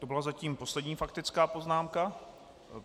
To byla zatím poslední faktická poznámka.